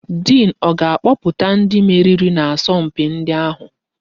Diin ọ ga-akpọpụta ndị meriri n'asọ mpi ndi ahụ?